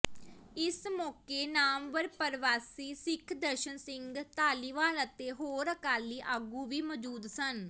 ਇਸ ਮੌਕੇ ਨਾਮਵਰ ਪਰਵਾਸੀ ਸਿੱਖ ਦਰਸ਼ਨ ਸਿੰਘ ਧਾਲੀਵਾਲ ਅਤੇ ਹੋਰ ਅਕਾਲੀ ਆਗੂ ਵੀ ਮੌਜੂਦ ਸਨ